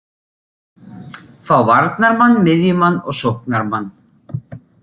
Fá varnarmann, miðjumann og sóknarmann.